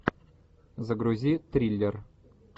загрузи триллер